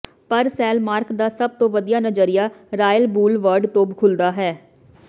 ਪਰ ਸੈਲਮਾਰਕ ਦਾ ਸਭ ਤੋਂ ਵਧੀਆ ਨਜ਼ਰੀਆ ਰਾਇਲ ਬੂਲਵਰਡ ਤੋਂ ਖੁੱਲਦਾ ਹੈ